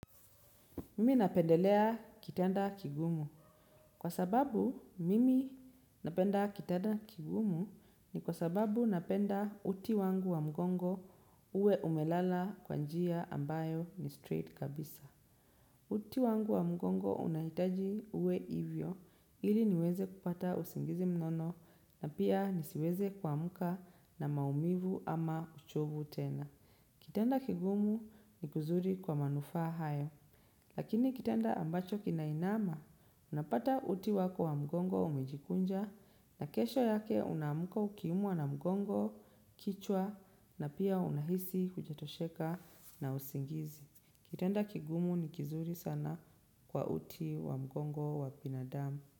Mimi napendelea kitanda kigumu. Kwa sababu, mimi napenda kitanda kigumu ni kwa sababu napenda uti wangu wa mgongo uwe umelala kwa njia ambayo ni straight kabisa. Uti wangu wa mgongo unahitaji uwe ivyo, ili niweze kupata usingizi mnono na pia nisiweze kuamka na maumivu ama uchovu tena. Kitanda kigumu ni kuzuri kwa manufa hayo. Lakini kitenda ambacho kinainama, unapata uti wako wa mgongo umejikunja na kesho yake unamka ukiumwa na mgongo, kichwa na pia unahisi hujetosheka na usingizi. Kitenda kigumu ni kizuri sana kwa uti wa mgongo wa binadamu.